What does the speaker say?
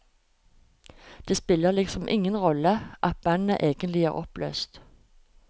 Det spiller liksom ingen rolle at bandet egentlig er oppløst.